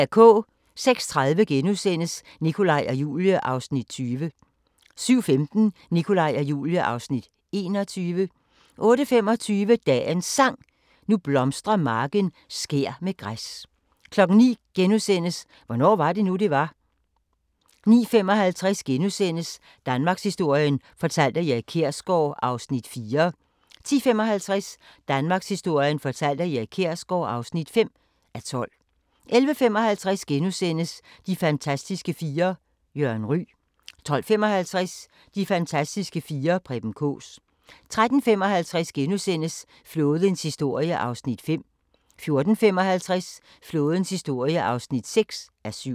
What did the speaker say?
06:30: Nikolaj og Julie (Afs. 20)* 07:15: Nikolaj og Julie (Afs. 21) 08:25: Dagens Sang: Nu blomstrer marken skær med græs 09:00: Hvornår var det nu det var * 09:55: Danmarkshistorien fortalt af Erik Kjersgaard (4:12)* 10:55: Danmarkshistorien fortalt af Erik Kjersgaard (5:12) 11:55: De fantastiske fire: Jørgen Ryg * 12:55: De fantastiske fire: Preben Kaas 13:55: Flådens historie (5:7)* 14:55: Flådens historie (6:7)